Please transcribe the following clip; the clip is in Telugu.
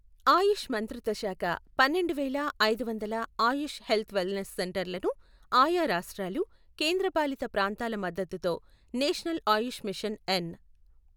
ఆయుష్ మంత్రిత్వశాఖ పన్నెండువేల ఐదు వందల ఆయుష్ హెల్త్ వెల్ నెస్ సెంటర్లను ఆయా రాష్ట్రాలు, కేంద్రపాలిత ప్రాంతాల మద్దతుతో నేషనల్ ఆయుష్ మిషన్ ఎన్.